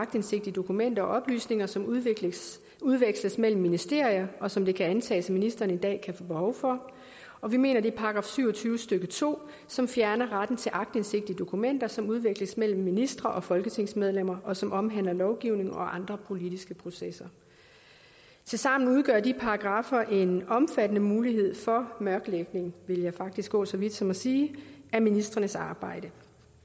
aktindsigt i dokumenter og oplysninger som udveksles udveksles mellem ministerier og som det kan antages at ministrene i dag kan få behov for og vi mener at det er § syv og tyve stykke to som fjerner retten til aktindsigt i dokumenter som udveksles mellem ministre og folketingsmedlemmer og som omhandler lovgivning og andre politiske processer tilsammen udgør de paragraffer en omfattende mulighed for mørklægning vil jeg faktisk gå så vidt som at sige af ministrenes arbejde